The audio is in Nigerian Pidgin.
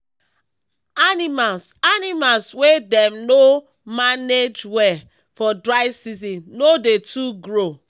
animals animals wey dem no mange well for dry season no dey too grow